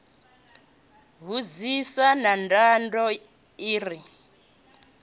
vhunzhisa na nḓaḓo i re